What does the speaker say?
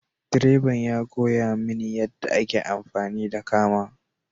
Direban ya koya mini yadda ake amfani da kama.